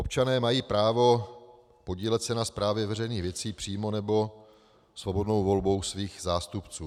Občané mají právo podílet se na správě veřejných věcí přímo nebo svobodnou volbou svých zástupců.